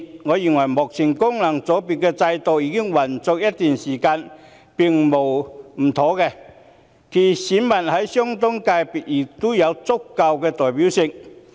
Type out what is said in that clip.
我認為，功能界別現行制度已運作一段時間，並無不妥；其選民在相關界別亦有足夠代表性。